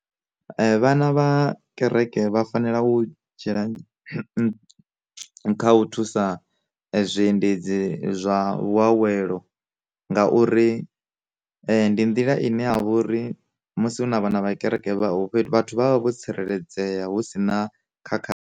Vhana vha kereke vha fanela u dzhia kha u thusa zwiendedzi zwa vhushavhelo, ngauri ndi nḓila ine ya vha uri musi hu na vhana vha kereke vhathu vha vha vho tsireledzea hu sina khakhathi.